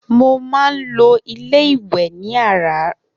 Mo má n lọ ilé iwè ní àráárọ̀